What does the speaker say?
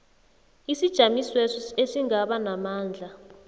isijamisweso esingaba namandla